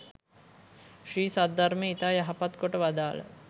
ශ්‍රී සද්ධර්මය ඉතා යහපත් කොට වදාළ